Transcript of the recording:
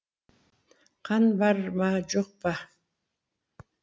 қан бар ма жоқ па